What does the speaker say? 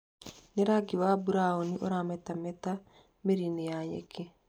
Nĩ wa rangi wa burauni ũramerete mĩri-inĩ ya nyeki.